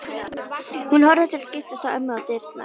Hún horfir til skiptis á ömmu og dyrnar.